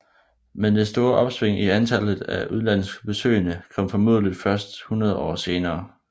Men det store opsving i antallet af udenlandske besøgende kom formodentligt først hundrede år senere